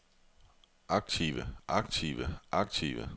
aktive aktive aktive